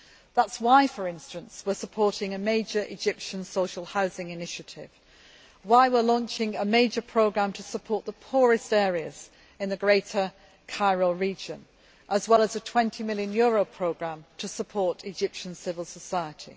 That is why, for instance, we are supporting a major Egyptian social housing initiative, and why we are launching a major programme to support the poorest areas in the greater Cairo region, as well as a EUR 20 million programme to support Egyptian civil society.